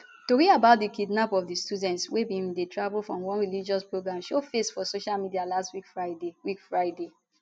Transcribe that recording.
tori about di kidnap of di students wey bin dey travel for one religious programme show face for social media last week friday week friday